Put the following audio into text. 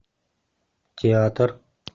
театр